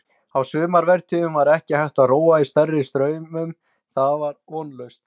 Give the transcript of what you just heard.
Á sumarvertíðum var ekki hægt að róa í stærri straumum, það var vonlaust.